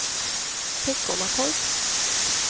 Teckomatorp